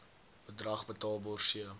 bedrag betaalbaar c